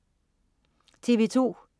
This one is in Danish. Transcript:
TV2: